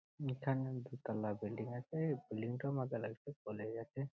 এখানে দু তালা বিল্ডিং আছে ।এই বিল্ডিং টা আমাকে লাগছে কলেজ